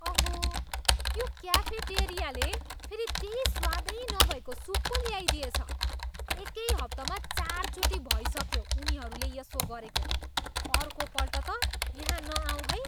अहो, यो क्याफेटेरियाले फेरि त्यै स्वादै नभएको सुप पो ल्याइदिएछ। एकै हप्तामा चारचोटि भइसक्यो उनीहरूले यसो गरेको। अर्कोपल्ट त यहाँ नआउँ है!